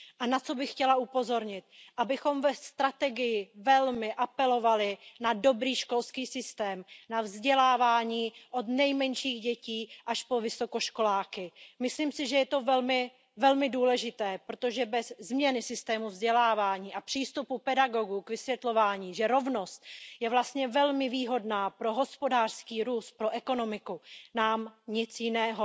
Na co bych chtěla upozornit, abychom ve strategii velmi apelovali na dobrý školský systém, na vzdělávání od nejmenších dětí až po vysokoškoláky. Myslím si, že je to velmi důležité, protože bez změny systému vzdělávání a přístupu pedagogů k vysvětlování, že rovnost je vlastně velmi výhodná pro hospodářský růst, pro ekonomiku, nám nic jiného